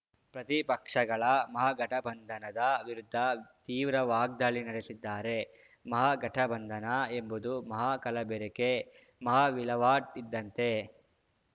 ಪ್ರತಿಪಕ್ಷಗಳ ಮಹಾಗಠಬಂಧನದ ವಿರುದ್ಧ ತೀವ್ರ ವಾಗ್ದಾಳಿ ನಡೆಸಿದ್ದಾರೆ ಮಹಾಗಠಬಂಧನ ಎಂಬುದು ಮಹಾ ಕಲಬೆರಕೆ ಮಹಾವಿಲಾವಟ್‌ ಇದ್ದಂತೆ